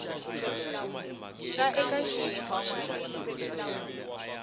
nga eka xiyimo xa le